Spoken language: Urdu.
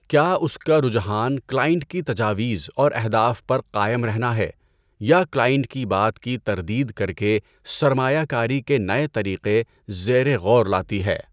کیا اس کا رجحان کلائنٹ کی تجاویز اور اہداف پر قائم رہنا ہے، یا کلائنٹ کی بات کی تردید کر کے سرمایہ کاری کے نئے طریقے زیر غور لاتی ہے؟